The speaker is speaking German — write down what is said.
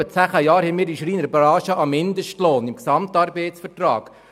Seit zehn Jahren haben wir in der Schreinerbranche einen Mindestlohn im GAV festgelegt.